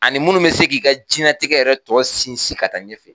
Ani minnu bɛ se k'i ka diɲɛlatigɛ yɛrɛ tɔ sinsin ka taa ɲɛfɛ.